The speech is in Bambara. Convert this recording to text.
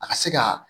A ka se ka